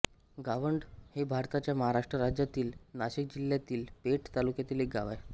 गावंढ हे भारताच्या महाराष्ट्र राज्यातील नाशिक जिल्ह्यातील पेठ तालुक्यातील एक गाव आहे